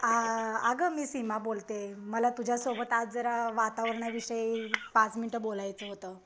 अ अगं मी सीमा बोलते, मला तुझ्यासोबत आज जरा वातावरणाविषयी पाच मिनिट बोलायचं होतं.